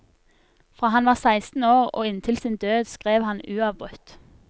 Fra han var seksten år og inntil sin død skrev han uavbrutt.